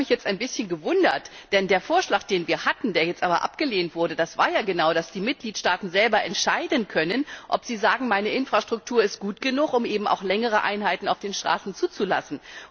Das hat mich jetzt ein bisschen gewundert. Denn der Vorschlag, den wir hatten, der jetzt aber abgelehnt wurde, bestand ja genau darin, dass die Mitgliedstaaten selber entscheiden können, ob sie sagen, meine Infrastruktur ist gut genug, um eben auch längere Einheiten auf den Straßen zuzulassen.